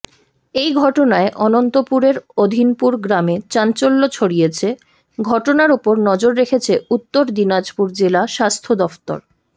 এই ঘটনায় অনন্তপুরের অধিনপুর গ্রামে চাঞ্চল্য ছড়িয়েছে ঘটনার উপর নজর রেখেছে উত্তর দিনাজপুর জেলা স্বাস্থ্যদফতর